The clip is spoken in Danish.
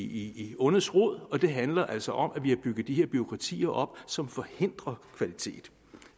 i ondets rod og det handler altså om at vi har bygget de her bureaukratier op som forhindrer kvalitet